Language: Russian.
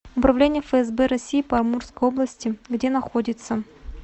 управление фсб россии по амурской области где находится